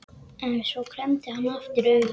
En svo klemmdi hann aftur augun.